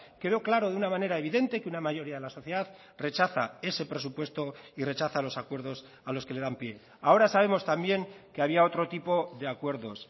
quedó claro de una manera evidente que una mayoría de la sociedad rechaza ese presupuesto y rechaza los acuerdos a los que le dan pie ahora sabemos también que había otro tipo de acuerdos